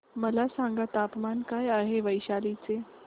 मला सांगा तापमान काय आहे वैशाली चे